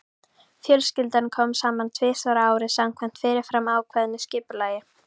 Fjölskyldan kom saman tvisvar á ári samkvæmt fyrirfram ákveðnu skipulagi.